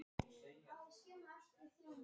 Selka, hvað er mikið eftir af niðurteljaranum?